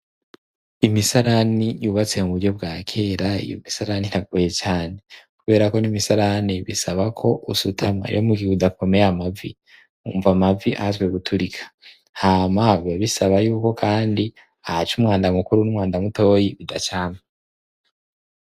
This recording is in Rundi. Imisarani yubatse mu buryo bwakera, iyo misarani iragoye cane, kubera ko n'imisarani bisaba ko usutama. Rero mugihe udakomeye amavi, wumva amavi ahatswe guturika. Hama bigasaba yuko kandi ahaca umwanda mukuru w'umwanda mutoyi bidaca hamwe.